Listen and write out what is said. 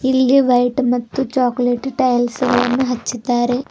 ಇಲ್ಲಿ ವೈಟ್ ಮತ್ತು chocolate tiles ಗಳನ್ನು ಹಚ್ಚಿದ್ದಾರೆ.